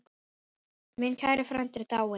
Minn kæri frændi er dáinn.